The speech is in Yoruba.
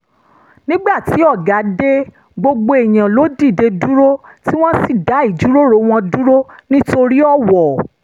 nígbà tí ọ̀gá dé gbogbo èèyàn ló dìde dúró tí wọ́n sì dá ìjíròrò wọn dúró nítorí ọ̀wọ̀